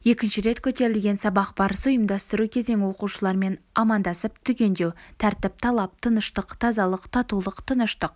екінші рет көтерілген сабақ барысы ұйымдастыру кезең оқушылармен амандасып түгендеу тәртіп талап тыныштық тазалық татулық тыныштық